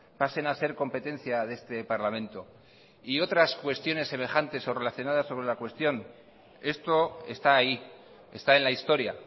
pasen a ser competencia de este parlamento y otras cuestiones semejantes o relacionadas sobre la cuestión esto está ahí está en la historia